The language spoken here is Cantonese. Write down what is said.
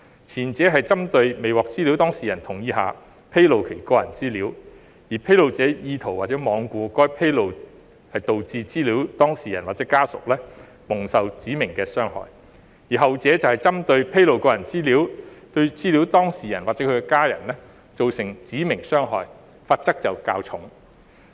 前者針對未獲資料當事人同意下披露其個人資料，而披露者意圖或罔顧該披露導致資料當事人或其家人蒙受指明傷害；後者則針對披露個人資料對資料當事人或其家人造成指明傷害，罰則較重。